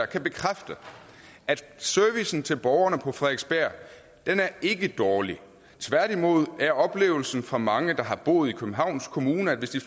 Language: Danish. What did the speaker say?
kan bekræfte at servicen til borgerne på frederiksberg ikke er dårlig tværtimod er oplevelsen for mange der har boet i københavns kommune at hvis de